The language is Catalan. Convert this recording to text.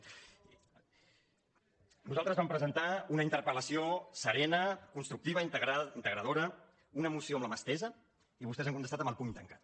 nosaltres vam presentar una interpel·tructiva integradora una moció amb la mà estesa i vostès han contestat amb el puny tancat